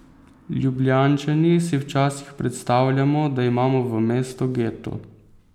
Ljubljančani si včasih predstavljamo, da imamo v mestu geto.